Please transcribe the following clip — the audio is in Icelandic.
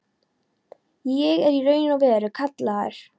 Ég er í raun og veru kallaður.